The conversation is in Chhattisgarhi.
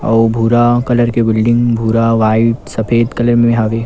अऊ भूरा कलर के बिल्डिंग भूरा वाइट सफ़ेद कलर में हवे।